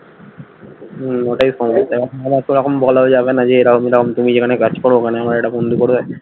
হম ওটাই সমস্যা আমার তো এখন বলাও যাবে না যে এরম এরম তুমি যেখানে কাজ করো ওখানে আমার একটা বন্ধু করবে